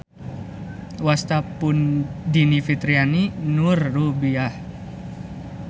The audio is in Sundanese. Wasta pun Dini Fitriani Noor Robiah.